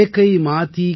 एकै माती के सभ भांडे